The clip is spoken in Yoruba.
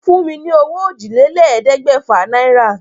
Fún mi ní owó òjìlélẹ̀ẹ́dégbèfà náírà.